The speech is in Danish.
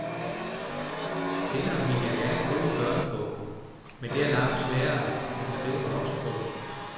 Senere ville jeg gerne skrive en børnebog, men det er langt sværere end at skrive en voksenbog.